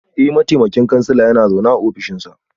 Eh, mataimakin kansila yana zaune a ofishinsa